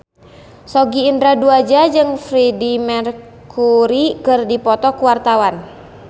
Sogi Indra Duaja jeung Freedie Mercury keur dipoto ku wartawan